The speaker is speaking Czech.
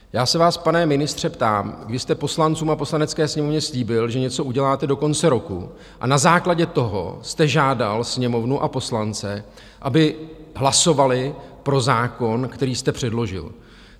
Já se vás, pane ministře, ptám, vy jste poslancům a Poslanecké sněmovně slíbil, že něco uděláte do konce roku, a na základě toho jste žádal Sněmovnu a poslance, aby hlasovali pro zákon, který jste předložil.